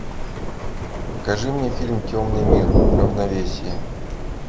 покажи мне фильм темный мир равновесие